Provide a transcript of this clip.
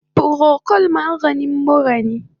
Procold maganin mura ne